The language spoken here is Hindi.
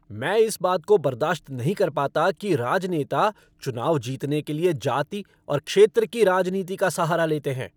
मैं इस बात को बर्दाश्त नहीं कर पता कि राजनेता चुनाव जीतने के लिए जाति और क्षेत्र की राजनीति का सहारा लेते हैं।